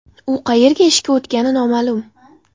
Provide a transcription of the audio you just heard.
U qayerga ishga o‘tgani noma’lum.